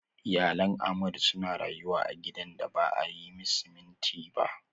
Iyalan Ahmadu suna rayuwa a gidan da ba a yi siminti ba.